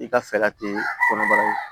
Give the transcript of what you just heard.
I ka fɛɛrɛ te kɔnɔbara ye